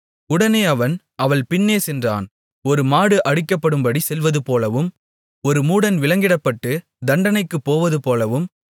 உடனே அவன் அவள் பின்னே சென்றான் ஒரு மாடு அடிக்கப்படும்படி செல்வதுபோலவும் ஒரு மூடன் விலங்கிடப்பட்டு தண்டனைக்குப் போவதுபோலவும்